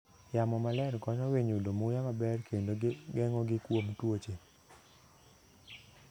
Yamo maler konyo winy yudo muya maber kendo geng'ogi kuom tuoche.